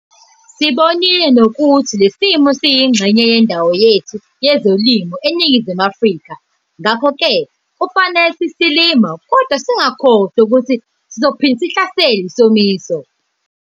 Sibonile nokuthi leso somiso siyingxenye yendawo yethu yezoLimo eNingizimu Afrika. Ngakho ke kufanele sithi silima kodwa singakhohlwa ukuthi sizophinda sihlaselwe yisomiso.